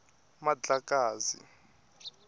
mandlakazi